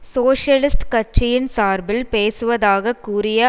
socialist கட்சியின் சார்பில் பேசுவதாக கூறிய